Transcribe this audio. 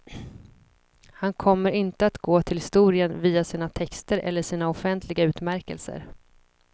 Han kommer inte att gå till historien via sina texter eller sina offentliga utmärkelser.